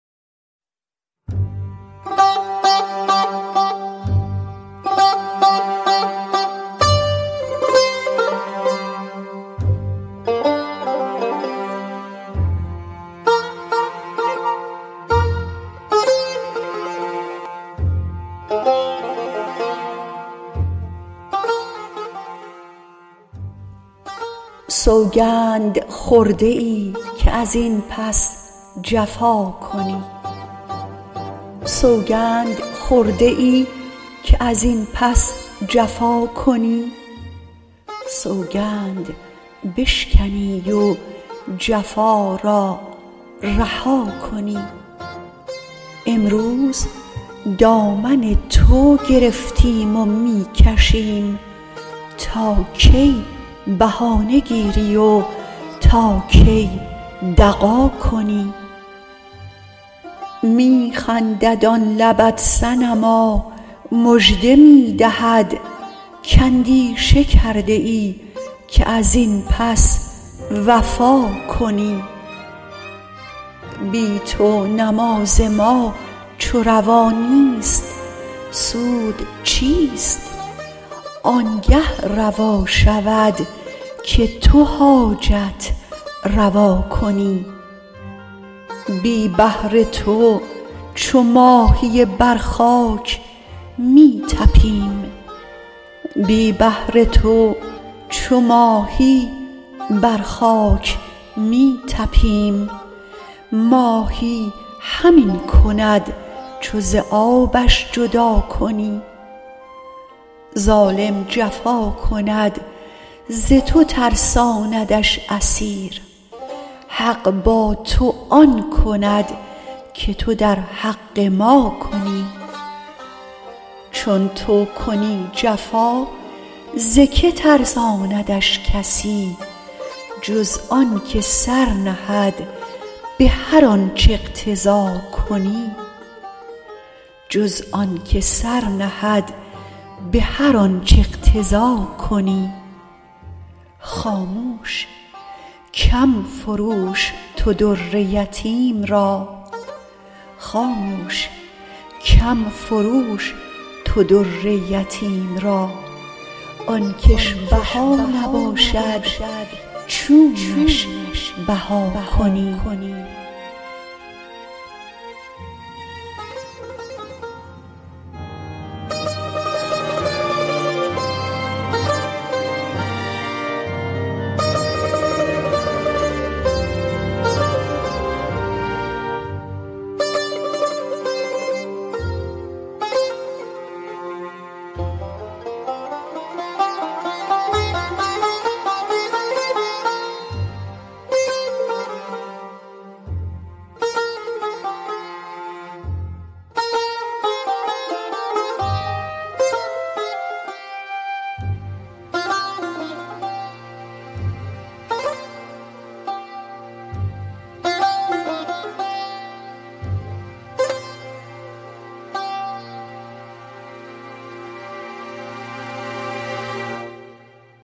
سوگند خورده ای که از این پس جفا کنی سوگند بشکنی و جفا را رها کنی امروز دامن تو گرفتیم و می کشیم تا کی بهانه گیری و تا کی دغا کنی می خندد آن لبت صنما مژده می دهد کاندیشه کرده ای که از این پس وفا کنی بی تو نماز ما چو روا نیست سود چیست آنگه روا شود که تو حاجت روا کنی بی بحر تو چو ماهی بر خاک می طپیم ماهی همین کند چو ز آبش جدا کنی ظالم جفا کند ز تو ترساندش اسیر حق با تو آن کند که تو در حق ما کنی چون تو کنی جفا ز کی ترساندت کسی جز آنک سر نهد به هر آنچ اقتضا کنی خاموش کم فروش تو در یتیم را آن کش بها نباشد چونش بها کنی